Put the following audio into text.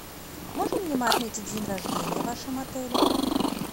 можем ли мы отметить день рождения в вашем отеле